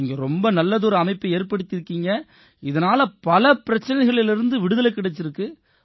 நீங்க ரொம்ப நல்லதொரு அமைப்பை ஏற்படுத்தி இருக்கீங்க இதனால பல பிரச்சனைகள்லேர்ந்து விடுதலை கிடைச்சிருக்கு